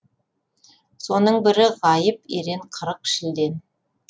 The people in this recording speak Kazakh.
соның бірі ғайып ерен қырық шілден